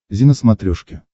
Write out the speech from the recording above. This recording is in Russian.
зи на смотрешке